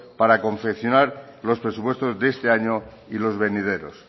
para confeccionar los presupuestos de este año y los venideros